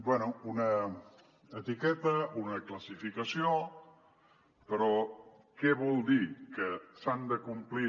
bé una etiqueta una classificació però què vol dir que s’han de complir